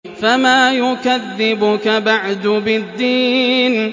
فَمَا يُكَذِّبُكَ بَعْدُ بِالدِّينِ